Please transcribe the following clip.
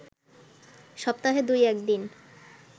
সপ্তাহে দুই-এক দিন